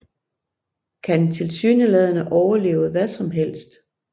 Kan tilsyneladende overleve hvad som helst